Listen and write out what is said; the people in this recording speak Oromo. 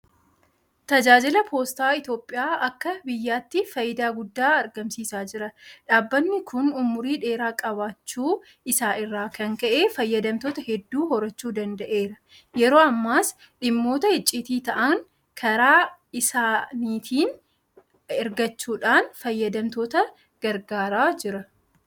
Tajaajjilli Poostaa Itoophiyaa akka biyyaatti faayidaa guddaa argamsiisaa jira. Dhaabbanni kun ummurii dheeraa qabaachuu isaa irraa kan ka'e fayyadamtoota hedduu horachuu danda'eera. Yeroo ammaas dhimmoota icciitii ta'an karaa isaaniitiin eragachuudhaan fayyadamtoota gargaaraa jira.